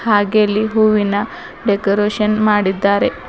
ಹಾಗೆ ಅಲ್ಲಿ ಹೂವಿನ ಡೆಕೋರೇಷನ್ ಮಾಡಿದ್ದಾರೆ.